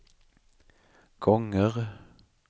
gånger